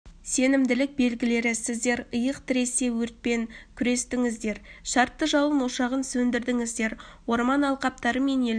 сенімділік білдірді сіздер иық тіресе өртпен күрестіңіздер шартты жалын ошағын сөндірдіңіздер орман алқаптары мен елді